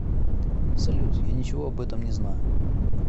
салют я ничего об этом не знаю